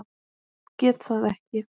Get það ekki.